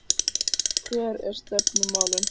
Hver eru stefnumálin?